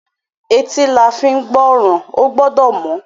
Etí la fín gbọ́ràn. Ó gbọ́dọ̀ mọ́.